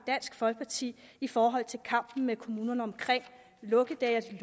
dansk folkeparti i forhold til kampen med kommunerne omkring lukkedage